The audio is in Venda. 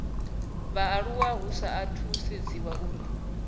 vhaaluwa hu sa sedziwi uri